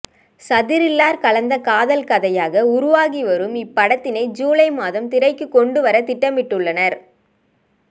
சதிரில்லர் கலந்த காதல் கதையாக உருவாகிவரும் இப்படதினை ஜூலை மாதம் திரைக்கு கொண்டுவர திட்டமிட்டுள்ளனர்